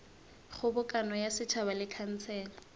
kgobokano ya setšhaba le khansele